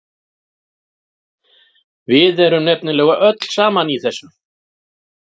Við erum nefnilega öll saman í þessu.